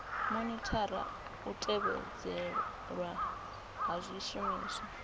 monithara u tevhedzelwa ha zwishumiswa